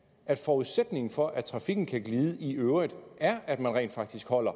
at forudsætningen for at trafikken kan glide i øvrigt er at man rent faktisk holder